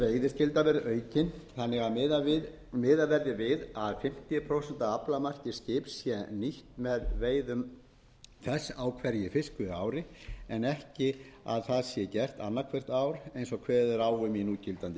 veiðiskylda verði aukin þannig að miðað verði við að fimmtíu prósent af aflamarki skips sé nýtt með veiðum þess á hverju fiskveiðiári en ekki að það sé gert annað hvert ár eins og kveðið er á um í núgildandi lögum